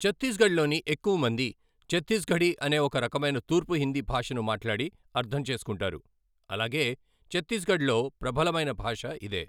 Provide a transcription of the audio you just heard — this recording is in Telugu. ఛత్తీస్గఢ్లోని ఎక్కువమంది ఛత్తీస్గఢీ అనే ఓ రకమైన తూర్పు హిందీ భాషను మాట్లాడి అర్థం చేసుకుంటారు, అలాగే ఛత్తీస్గఢ్లో ప్రబలమైన భాష ఇదే.